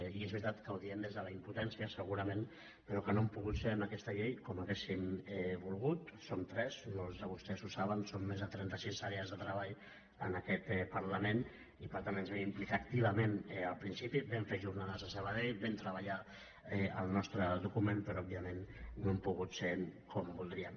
i és veritat que ho diem des de la impotència segurament però que no hem pogut ser en aquesta llei com hauríem volgut som tres molts de vostès ho saben són més de trenta sis àrees de treball en aquest parlament i per tant ens hi vam implicar activament al principi vam fer jornades a sabadell vam treballar el nostre document però òbviament no hem pogut ser hi com voldríem